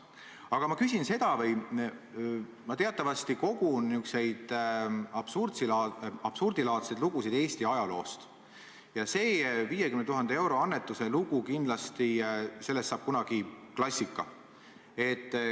Aga mina teatavasti kogun niisuguseid absurdilaadseid lugusid Eesti ajaloost, näiteks saab sellest 50 000 euro annetuse loost kindlasti kunagi klassika.